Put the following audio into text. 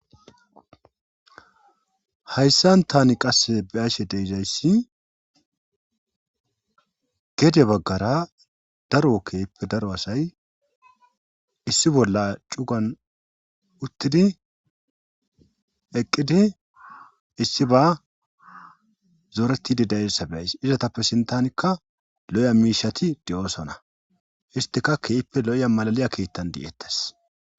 Hayssan tani qasse be7ashe deezayssi gede baggara daroo keyippe daro asay issi bolla cugan uttidi eqqidi issi ba zooretidi da7eyssa be7ays izatappe sintanikka lo7iya miishati de7oosona istika kehippe lo7iya malaliya keettan de7eettes.